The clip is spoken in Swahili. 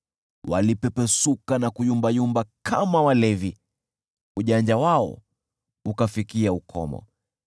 Walipepesuka na kuyumbayumba kama walevi, ujanja wao ukafikia ukomo.